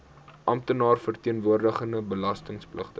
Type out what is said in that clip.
amptenaar verteenwoordigende belastingpligtige